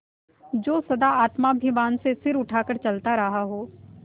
जो सदा आत्माभिमान से सिर उठा कर चलता रहा हो